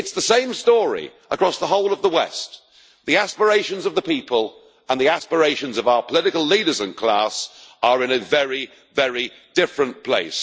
It's the same story across the whole of the West the aspirations of the people and the aspirations of our political leaders and class are in a very, very different place.